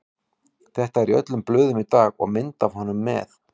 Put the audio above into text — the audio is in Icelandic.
Þetta er í öllum blöðum í dag og mynd af honum með.